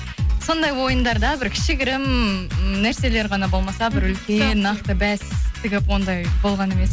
сондай ойындарда бір кішігірім нәрселер ғана болмаса бір үлкен нақты бәс тігіп ондай болған емес